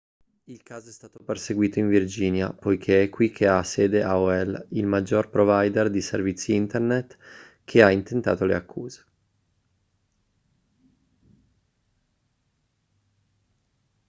il caso è stato perseguito in virginia poiché è qui che ha sede aol il maggiore provider di servizi internet che ha intentato le accuse